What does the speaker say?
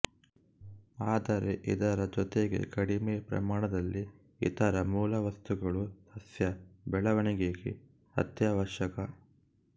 ಆದರೆ ಇದರ ಜೊತೆಗೆ ಕಡಿಮೆ ಪ್ರಮಾಣದಲ್ಲಿ ಇತರ ಮೂಲವಸ್ತುಗಳು ಸಸ್ಯ ಬೆಳವಣಿಗೆಗೆ ಅತ್ಯಾವಶ್ಯಕ